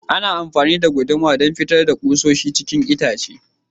Ana amafani da guduma don fitar da kusoshi cikin itace.